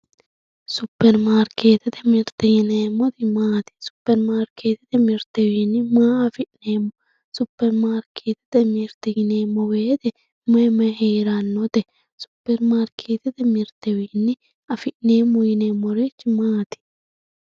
Superimaarketete mirteti yineemmoti maati, superimaarketete mirtewi maa affi'neemmo, superimaarketete mirte yineemmo woyte mayi mayi heeranote, superimaarketete mirtewi affi'neemmo yineemmori maati?